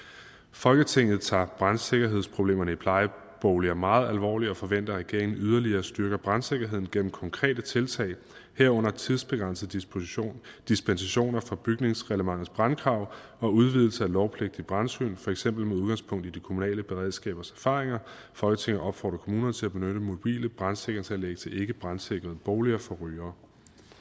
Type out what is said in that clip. folketinget tager brandsikkerhedsproblemerne i plejeboliger meget alvorligt og forventer at regeringen yderligere styrker brandsikkerheden gennem konkrete tiltag herunder tidsbegrænsede dispensationer dispensationer fra bygningsreglementets brandkrav og udvidelse af lovpligtige brandsyn for eksempel med udgangspunkt i de kommunale beredskabers erfaringer folketinget opfordrer kommunerne til at benytte mobile brandsikringsanlæg til ikkebrandsikrede boliger for rygere